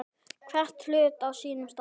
Hvern hlut á sínum stað.